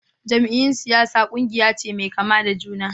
Jam'iyyun siyasa kungiya ce mai kama da juna.